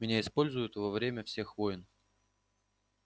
меня используют во время всех войн